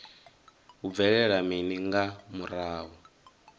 hu bvelela mini nga murahu